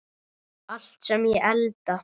Allt sem ég elda.